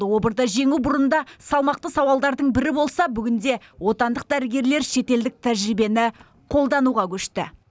обырды жеңу бұрында салмақты сауалдардың бірі болса бүгінде отандық дәрігерлер шетелдік тәжірибені қолдануға көшті